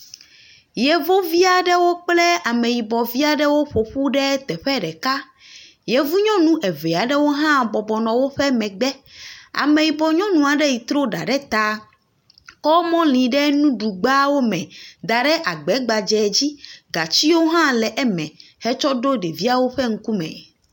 Yevuvi aɖewo kple ameyibɔvi aɖewo ƒo ƒu ɖe teƒe ɖeka. Yevu nyɔnu eve aɖewo hã bɔbɔ nɔ woƒe megbe. Ameyibɔ nyɔnu aɖe yi trɔ ɖa ɖe ta kɔ mɔli ɖe nuɖugbawo me da ɖe agba gbadzɛ dzi gatiwo hã le eme hetsɔ ɖo ɖeviawo ƒe ŋkume.